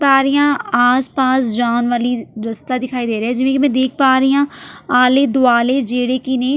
ਦੇਖ ਪਾ ਰਹੀ ਹਾਂ ਆਸ-ਪਾਸ ਜਾਣ ਵਾਲੀ ਰਸਤਾ ਦਿਖਾਈ ਦੇ ਰਿਹਾ ਹੈ ਜਿਵੇਂ ਕਿ ਮੈਂ ਦੇਖ ਪਾ ਰਹੀ ਹਾਂ ਆਲੇ-ਦੁਆਲੇ ਜਿਹੜੇ ਕਿ ਨੇ --